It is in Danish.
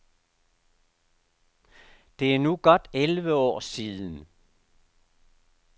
Det er nu godt elleve år siden.